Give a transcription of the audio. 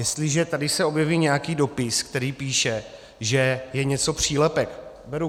Jestliže se tady objeví nějaký dopis, který píše, že je něco přílepek, beru.